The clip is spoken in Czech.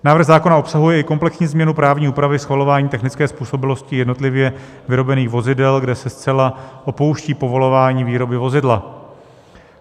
Návrh zákona obsahuje i komplexní změnu právní úpravy schvalování technické způsobilosti jednotlivě vyrobených vozidel, kde se zcela opouští povolování výroby vozidla.